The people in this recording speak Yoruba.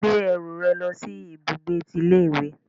Gbé ẹrù rẹ lòsí ibùgbé tí ilé ìwé